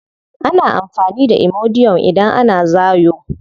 Ana amfani da imodium idan ana zaayo.